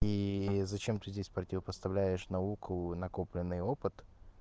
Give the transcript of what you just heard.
и зачем ты здесь противопоставляет науку накопленный опыт